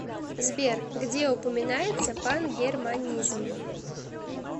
сбер где упоминается пангерманизм